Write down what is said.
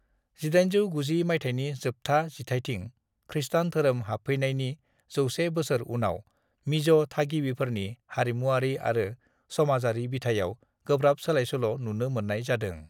1890 मायथाइनि जोबथा जिथायथिं खृष्टान धोरोम हाबफैनायनि 100 बोसोर उनाव मिज' थागिबिफोरनि हारिमुआरि आरो समाजारि बिथायाव गोब्राब सोलायसोल' नुनो मोननाय जादों।